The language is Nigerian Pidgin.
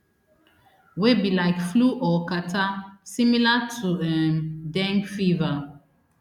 wey be like flu or catarrh similar to um dengue fever